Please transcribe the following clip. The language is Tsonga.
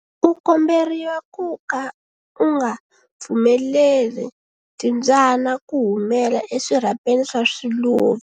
U komberiwa ku ka u nga pfumeleli timbyana ku humela eswirhapeni swa swiluva.